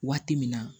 Waati min na